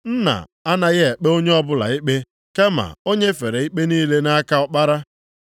Nna anaghị ekpe onye ọbụla ikpe, kama o nyefere ikpe niile nʼaka Ọkpara.